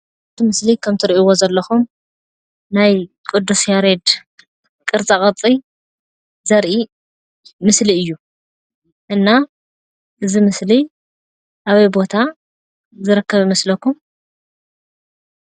ኣብቲ ምስሊ ከም እትርእይዎ ከምዘለኩም ናይ ቅድስ ያሬድ ቅርፃ-ቅርፂ ዘርኢ ምስሊ እዩ። እና እዙይ ምስሊ ኣበይ ቦታ ዝርከብ ይመስለኩም?